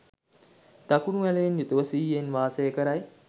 දකුණු ඇලයෙන් යුතුව සිහියෙන් වාසය කරයි.